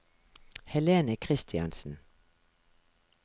Helene Christiansen